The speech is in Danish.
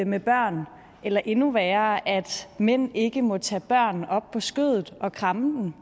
med børn eller endnu værre at mænd ikke må tage børn op på skødet og kramme dem